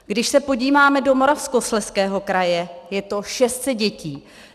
Když se podíváme do Moravskoslezského kraje, je to 600 dětí.